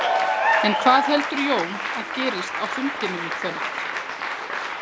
En hvað heldur Jón að gerist á fundinum í kvöld?